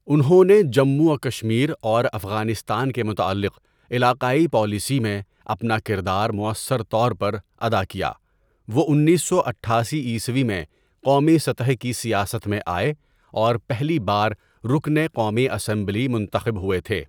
انہوں نے جموں و کشمیر اور افغانستان کے متعلق علاقائی پالیسی میں اپنا کردار موؑثر طور پر ادا کیا وہ انیس سو اٹھاسی عیسوی میں قومی سطح کی سیاست میں آئے اور پہلی بار رکنِ قومی اسمبلی منتخب ہوئے تھے.